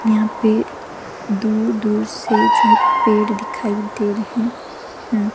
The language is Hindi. यहां पे दूर-दूर से जो है पेड़ दिखाई दे रहे हैं।